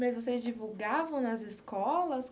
Mas vocês divulgavam nas escolas?